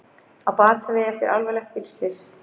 Á batavegi eftir alvarlegt bílslys